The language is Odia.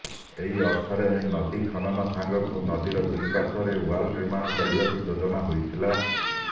ଏହି ଅର୍ଥରେ ନଦୀ ଖନନ ସାଙ୍ଗକୁ ନଦୀର ଦୁଇପାର୍ଶ୍ବରେ ୱାଲ୍ ନିର୍ମାଣ କରିବାକୁ ଯୋଜନା ହୋଇଥିଲା